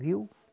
Viu?